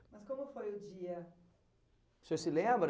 Mas como foi o dia? O senhor se lembra?